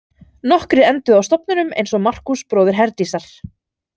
Nokkrir enduðu á stofnunum eins og Markús bróðir Herdísar.